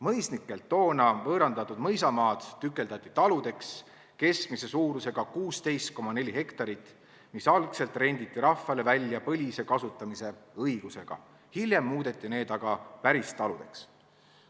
Mõisnikelt toona võõrandatud mõisamaad tükeldati taludeks, keskmise suurusega 16,4 hektarit, mis algselt renditi rahvale välja põlise kasutamise õigusega, hiljem muudeti need aga päristaludeks.